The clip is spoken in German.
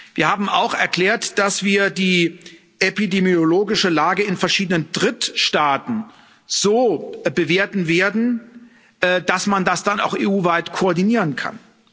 Wir haben auch erklärt, dass wir die epidemiologische Lage in verschiedenen Drittstaaten so bewerten werden, dass man das dann auch EU weit koordinieren kann.